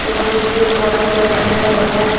और नीचे पारक सा लगे हुआ है।